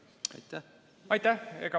Aitäh!